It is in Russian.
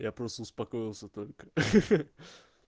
я просто успокоился только ха-ха